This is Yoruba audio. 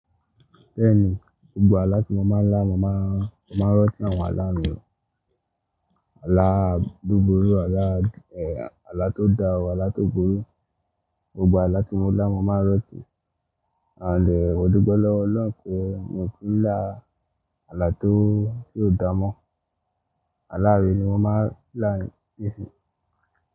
Bẹ́ẹ̀ni, gbogbo alá tí mo máa ń lá, mo máa ń rọ́tí àwọn alá mi. Àlá búbúrú, àlá, eh, àlá tó da, àlá tó bùrù. Gbogbo alá tí mo lá, mo máa ń rantì. And e, mò dúpe lọ́wọ́ Ọlọ́run pẹ́, mo kín lá àlá tó, tí ò da mọ́. Àlá irè ni mo máa ń lá nísìnyí.